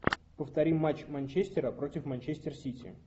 повтори матч манчестера против манчестер сити